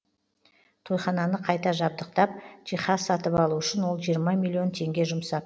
тойхананы қайта жабдықтап жиһаз сатып алу үшін ол жиырма миллион теңге жұмсап